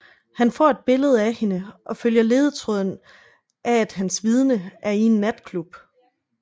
Han får et billede af hende og følger ledetråden af at hans vidne er i en natklub